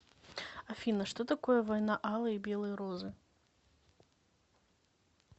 афина что такое война алой и белой розы